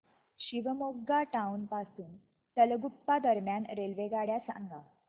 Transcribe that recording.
Shivamogga town पासून तलगुप्पा दरम्यान रेल्वेगाड्या सांगा